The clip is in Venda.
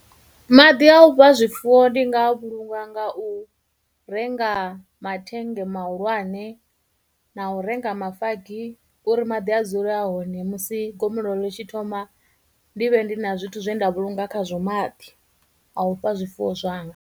Maḓi a u fha zwifuwo ndi nga a vhulunga nga u renga mathennge mahulwane, na u renga mafagi uri maḓi a dzule a hone, musi gomelelo ḽi tshi thoma ndi vhe ndi na zwithu zwe nda vhulunga khazwo maḓi a u fha zwifuwo zwanga.